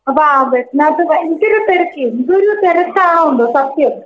അപ്പോ ആ ബസ്സിനകത്ത് ഭയങ്കര തെരക്ക്. എന്തൊരു തെരക്കാണോ? എന്തോ സത്യം.